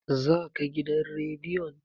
za ka gidan rediyon!